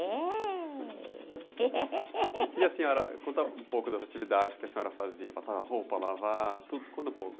É. o que a senhora, conta um pouco das atividades que a senhora fazia, passava roupa, lavava, tudo, conta um pouco.